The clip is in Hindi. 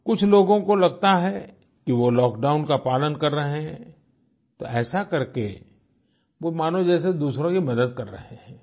कुछ लोगों को लगता है कि वो लॉकडाउन का पालन कर रहे हैं तो ऐसा करके वो मानो जैसे दूसरों की मदद कर रहे हैं